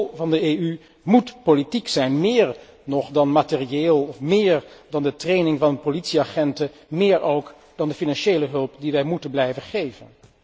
De rol van de EU moet politiek zijn, meer nog dan materieel of meer dan de training van politieagenten en meer ook dan de financiële hulp die wij moeten blijven geven.